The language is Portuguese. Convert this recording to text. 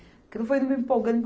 Aquilo foi me empolgando